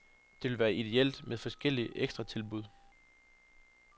Det ville være idéelt med forskellige ekstratilbud.